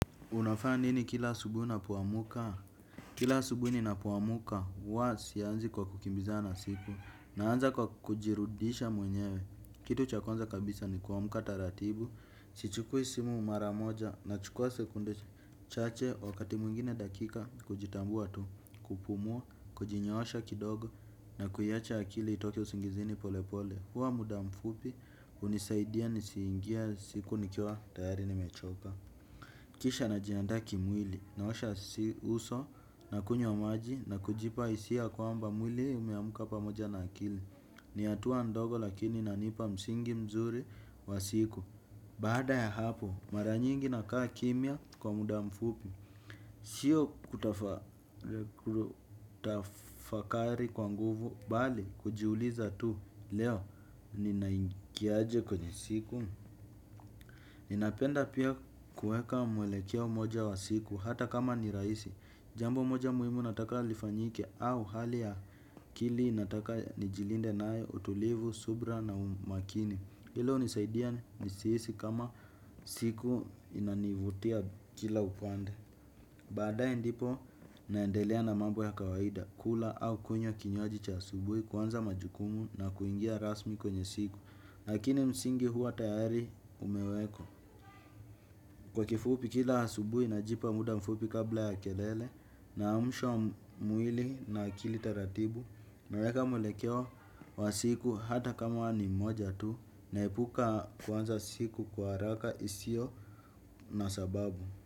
Unafanya nini kila subuhi unapoamka? Kila asubuhi ninapo amka, huwa sianzi kwa kukimbizana na siku, naanza kwa kujirudisha mwenyewe. Kitu cha kwanza kabisa ni kuamka taratibu, sichukui simu maramoja, nachukua sekunde chache, wakati mwingine dakika, kujitambua tu, kupumua, kujinyoosha kidogo, na kuiacha akili itoke usingizini pole pole. Hua muda mfupi, hunisaidia nisiingia siku nikiwa tayari nimechoka. Kisha najiandaa kimwili, naosha si uso, na kunywa maji, na kujipa hisia kwamba mwili umeamka pamoja na akili. Ni hatua ndogo lakini inanipa msingi mzuri wa siku. Baada ya hapo, mara nyingi nakaa kimya kwa muda mfupi. Sio kutafakari kwa nguvu, bali kujiuliza tu, leo ninaingiaje kwenye siku. Ninapenda pia kueka mwelekeo mmoja wa siku hata kama ni rahisi. Jambo moja muhimu nataka lifanyike au hali ya akili nataka nijilinde nayo utulivu, subra na umakini. Hilo unisaidia nisihisi kama siku inanivutia kila upande. Badae ndipo naendelea na mamb ya kawaida kula au kunywa kinywaji cha asubuhi kuanza majukumu na kuingia rasmi kwenye siku. Lakini msingi huwa tayari ume wekwa. Kwa kifupi kila hasubui na jipa muda mfupi kabla ya kelele. Naamsha mwili na akili ratibu. Naweka mwelekeo wa siku hata kama wa ni moja tu. Naepuka kuanza siku kwa haraka isio na sababu.